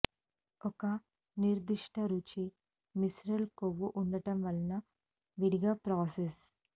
ఒక నిర్దిష్ట రుచి విసెరల్ కొవ్వు ఉండటం వలన విడిగా ప్రాసెస్